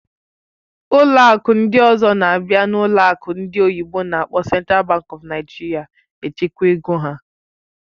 Ụlọ akụ ndị ọzọ na-abịa n'ụlọ akụ ndị oyibo n'akpọ Central Bank of Nigeria echekwa ego ha.